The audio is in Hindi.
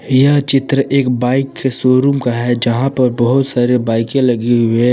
यह चित्र एक बाइक के शोरूम का है यहां पर बहुत सारे बाइकें लगी हुई हैं।